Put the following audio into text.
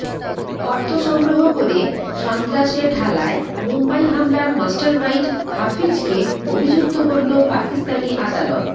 অর্থ সংগ্রহ করে সন্ত্রাসে ঢালায় মুম্বই হামলার মাস্টারমাইন্ড হাফিজকে অভিযুক্ত করল পাকিস্তানি আদালত